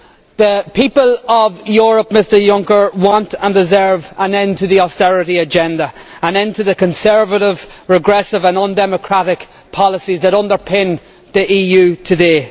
The people of Europe, I would say to Mr Juncker, want and deserve an end to the austerity agenda, an end to the conservative, regressive and undemocratic policies that underpin the EU today.